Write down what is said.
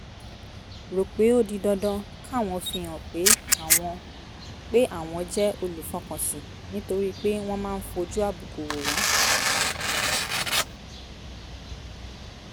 rò pé ó di dandan káwọn fihàn pé àwọn pé àwọn jẹ́ olùfọkànsìn nítorí pé wọ́n máa ń fojú àbùkù wò wọ́n